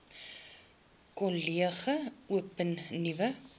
kollege open nuwe